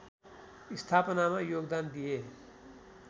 स्थापनामा योगदान दिए